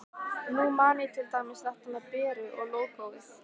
Nú man ég til dæmis þetta með Beru og lógóið.